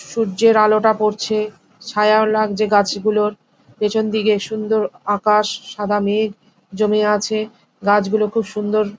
সুয্যের আলোটা পড়ছে ছায়া লাগছে গাছ গুলোর পিছন দিকে সুন্দর আকাশ সাদা মেঘ জমে আছে গাছ গুলো খুব সুন্দর।